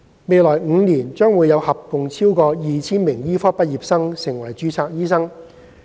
未來5年將會有合共超過 2,000 名醫科畢業生成為註冊醫生。